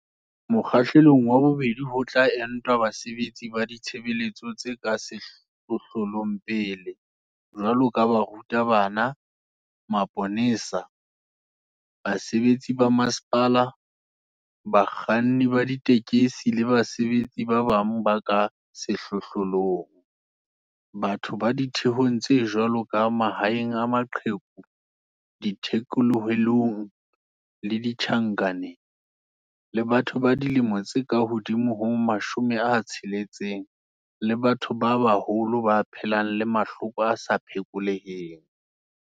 Mokgahlelong wa bobedi ho tla entwa basebetsi ba ditshebeletso tse ka sehlohlolong pele, jwalo ka baruta bana, maponesa, basebetsi ba masepala, bakganni ba ditekesi le basebetsi ba bang ba ka sehlohlolong, batho ba ditheong tse jwalo ka mahae a maqheku, dithekolohelong le ditjhankaneng, le batho ba dilemo tse ka hodimo ho 60 le batho ba baholo ba phelang le mahloko a sa phekoleheng.